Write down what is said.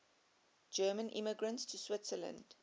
german immigrants to switzerland